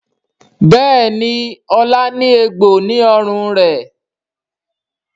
Béèni Ola ní egbò ní ọrùn rẹ.